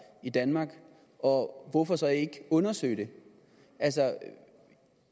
i danmark og hvorfor så ikke undersøge det